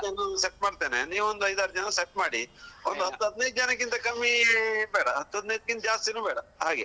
ನಮ್ದು ಬರ್ತಾರೆ ನಮ್ಮ friends set ಮಾಡ್ತೇನೆ ನೀವ್ ಒಂದು ಐದ್ ಆರ್ ಜನ set ಮಾಡಿ ಒಂದ್ ಹತ್ತು ಹದಿನೈದು ಜನಕಿಂತ ಕಮ್ಮಿ ಬೇಡ ಹತ್ತು ಹದಿನೈದಕ್ಕಿಂತ ಜಾಸ್ತಿನು ಬೇಡ ಹಾಗೆ.